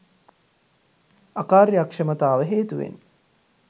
අකාර්යක්ෂමතාව හේතුවෙන්